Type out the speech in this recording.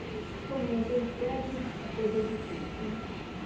Mas, como não tem sede, a coisa é difícil, né?